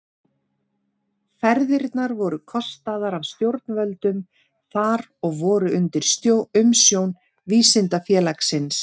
Ferðirnar voru kostaðar af stjórnvöldum þar og voru undir umsjón Vísindafélagsins.